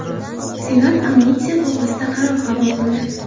Senat amnistiya to‘g‘risida qaror qabul qildi.